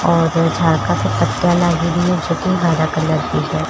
और जोकि हरया कलर की है।